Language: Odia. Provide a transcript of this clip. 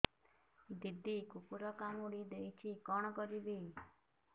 ଦିଦି କୁକୁର କାମୁଡି ଦେଇଛି କଣ କରିବି